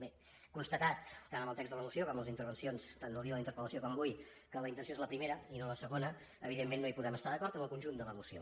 bé constatat tant en el text de la moció com en les intervencions tant del dia de la interpellació com avui que la intenció és la primera i no la segona evidentment no podem estar d’acord amb el conjunt de la moció